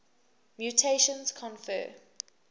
mutations confer